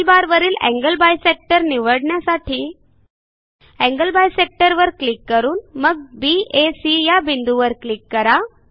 टूलबारवरील angle bisector निवडण्यासाठी angle bisector वर क्लिक करून मग baसी या बिंदूंवर क्लिक करा